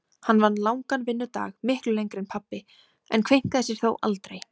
Hún vann langan vinnudag, miklu lengri en pabbi, en kveinkaði sér þó aldrei.